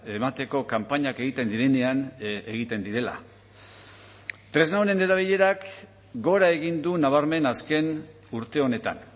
emateko kanpainak egiten direnean egiten direla tresna honen erabilerak gora egin du nabarmen azken urte honetan